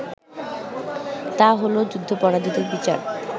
তা হলো যুদ্ধাপরাধীদের বিচার